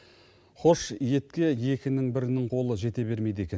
хош етке екінің бірінің қолы жете бермейді екен